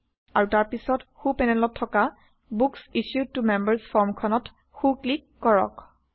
আৰু তাৰ পাছত সো পেনেলত থকা বুক্স ইছ্যুড ত মেম্বাৰ্ছ ফৰ্মখনত সো ক্লিক কৰক